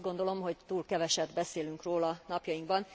Azt gondolom, hogy túl keveset beszélünk róla napjainkban.